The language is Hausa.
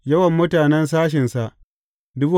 Yawan mutanen sashensa ne.